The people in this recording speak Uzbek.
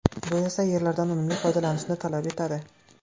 Bu esa yerlardan unumli foydalanishni talab etadi.